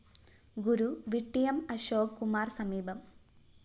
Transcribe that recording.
ഗുരു വിട്ടിയം അശോക് കുമാര്‍ സമീപം